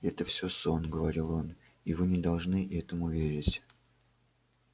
это всё сон говорил он и вы не должны этому верить